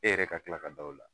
E yɛrɛ ka tila ka da o la